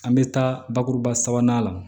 An bɛ taa bakuruba sabanan la